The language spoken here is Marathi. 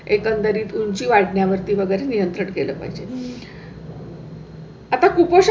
एकंदरीत उंची वाढण्या वरती वगैरे नियंत्रित केलं पाहिजे. हु आता कुपोषण